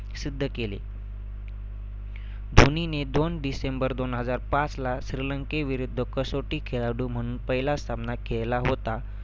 सिद्ध केले. धोनीने दोन डिसेंबर दोन हजार पाचला श्रीलंकेविरुद्ध कसौटी खेळाडू म्हणून पहिला सामना खेळला होता.